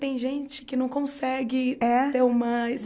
Tem gente que não consegue é ter uma